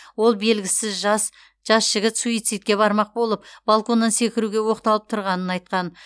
ол белгісіз жас жас жігіт суицидке бармақ болып балконнан секіруге оқталып тұрғанын айтқан